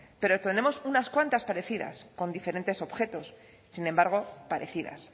pero tenemos unas cuantas parecidas con diferentes objetos sin embargo parecidas